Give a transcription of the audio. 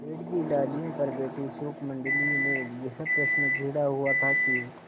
पेड़ की डालियों पर बैठी शुकमंडली में यह प्रश्न छिड़ा हुआ था कि